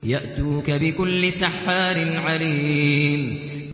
يَأْتُوكَ بِكُلِّ سَحَّارٍ عَلِيمٍ